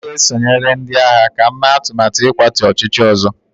M ga-esonyere ndị agha ka m mee atụmatụ ịkwatu ọchịchị ọzọ